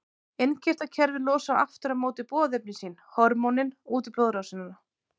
Innkirtlakerfið losar aftur á móti boðefni sín, hormónin, út í blóðrásina.